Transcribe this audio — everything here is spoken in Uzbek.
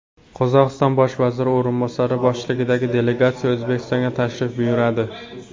Qozog‘iston bosh vaziri o‘rinbosari boshchiligidagi delegatsiya O‘zbekistonga tashrif buyuradi.